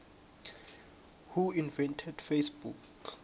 who invented facebook